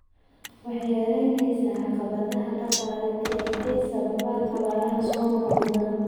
Waxay yaraynaysaa caqabadaha dhaqaale ee ay sababaan abaaraha soo noqnoqda.